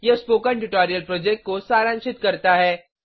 यह spoken tutorial project को सारांशित करता है